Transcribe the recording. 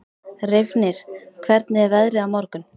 Reifnir, hvernig er veðrið á morgun?